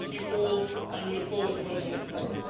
Thank you all and we look forward to voting on this tomorrow.